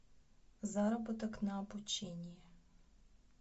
заработок на обучении